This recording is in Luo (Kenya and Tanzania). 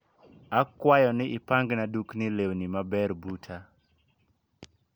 Akwayo ni ipangna dukni lewni maber buta